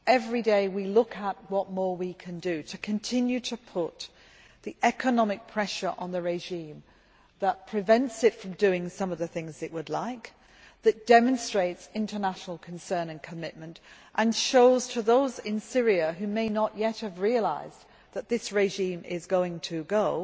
Every day, we look at what more we can do to continue to put the economic pressure on the regime that prevents it from doing some of the things it would like, that demonstrates international concern and commitment, and that shows to those in Syria who may not yet have realised it that this regime is going to go,